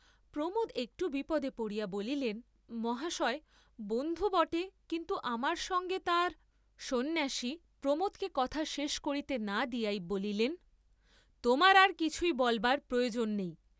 প্রমােদ একটু বিপদে পড়িয়া বলিলেন মহাশয়, বন্ধু বটে, কিন্তু আমার সঙ্গে তাঁর, সন্ন্যাসী প্রমােদকে কথা শেষ করিতে না দিয়াই বলিলেন তােমার আর কিছুই বলবার প্রয়ােজন নেই।